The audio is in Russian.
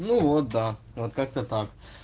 ну вот да вот как-то так